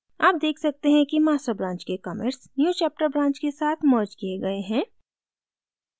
आप देख सकते हैं कि master branch के commits newchapter branch के साथ merged किये गए हैं